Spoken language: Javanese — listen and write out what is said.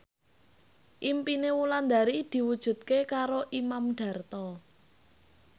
impine Wulandari diwujudke karo Imam Darto